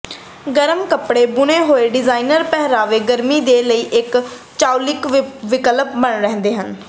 ਗਰਮ ਕਪੜੇ ਬੁਣੇ ਹੋਏ ਡਿਜ਼ਾਈਨਰ ਪਹਿਰਾਵੇ ਗਰਮੀ ਦੇ ਲਈ ਇੱਕ ਚਾਉਲਿਕ ਵਿਕਲਪ ਬਣੇ ਰਹਿੰਦੇ ਹਨ